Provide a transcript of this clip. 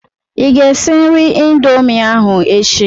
Ị ga-esi nri Indomie ahụ echi.